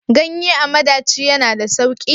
Ganye a madaci ya na da sauki?